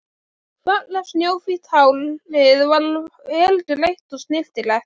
Fallegt snjóhvítt hárið var vel greitt og snyrtilegt.